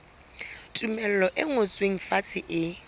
tumello e ngotsweng fatshe e